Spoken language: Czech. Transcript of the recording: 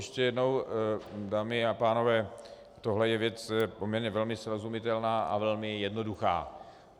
Ještě jednou, dámy a pánové, tohle je věc poměrně velmi srozumitelná a velmi jednoduchá.